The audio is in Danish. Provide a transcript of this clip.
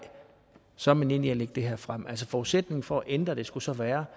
så er man enig i at lægge det her frem forudsætningen for at ændre det skulle så være